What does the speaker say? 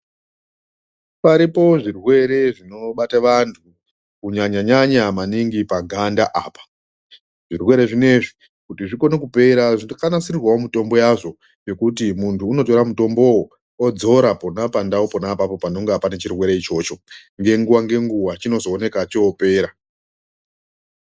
Paripo zvirwere zvinobate vantu, kunyanya-nyanya maningi paganda apa. Zvirwere zvinezvi kuti zvikone kupera, zvakanasirwawo mitombo yazvo, yekuti muntu unotora mutombowo odzora pona pandaupo pona panonga pane chirwere ichocho. Ngenguwa ngenguwa chinozooneka chopera.